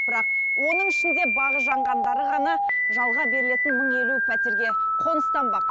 бірақ оның ішінде бағы жанғандары ғана жалға берілетін мың елу пәтерге қоныстанбақ